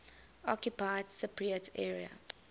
occupied cypriot area